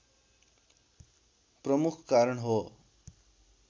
प्रमुख कारण हो